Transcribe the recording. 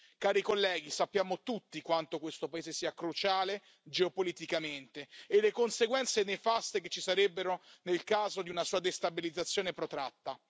Cari colleghi, sappiamo tutti quanto questo paese sia cruciale geopoliticamente e le conseguenze nefaste che ci sarebbero nel caso di una sua destabilizzazione protratta.